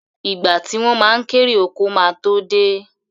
Ìgbà tí wọ́n ma kérè oko ma tó dé